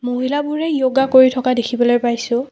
মহিলাবোৰে য়ৌগা কৰি থকা দেখিবলৈ পাইছোঁ।